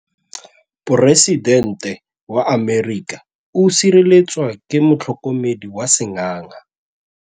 Poresitêntê wa Amerika o sireletswa ke motlhokomedi wa sengaga.